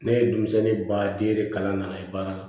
Ne ye denmisɛnnin ba den kalan na baara